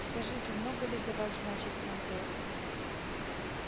скажите много ли для вас значит трантор